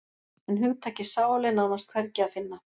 En hugtakið sál er nánast hvergi að finna.